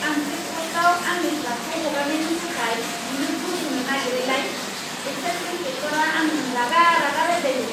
आं चेकप'स्टआव आंनि ट्राकखौ हगारनायनि थाखाय बिनो घुस होनो नागिरैलाय, एक्साइज इनस्पेक्टरआ आंजों रागा रागा रायज्लायदों।